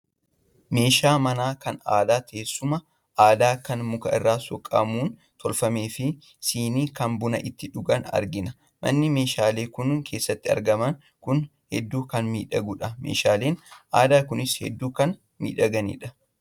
Meeshaa manaa kan aadaa, teessuma aadaa kan muka irraa soqamuun tolfame fi shinnii kan buna ittiin dhugan argina. Manni meeshaaleen kun keessatti argaman kun hedduu kan miidhagedha. Meeshaaleen aadaa kunis hedduu kan miidhaganidha.